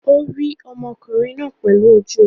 Ó rí ọmọkùnrin náà pẹ̀lú ojú rẹ̀?